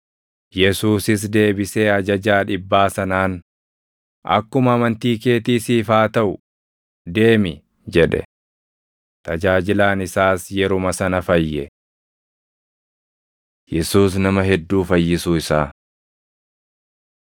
Yesuusis deebisee ajajaa dhibbaa sanaan, “Akkuma amantii keetii siif haa taʼu; deemi!” jedhe. Tajaajilaan isaas yeruma sana fayye. Yesuus Nama Hedduu Fayyisuu Isaa 8:14‑16 kwf – Mar 1:29‑34; Luq 4:38‑41